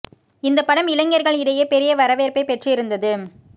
இந்தப் படம் இளைஞர்கள் இடையே பெரிய வரவேற்பை பெற்று இருந்தது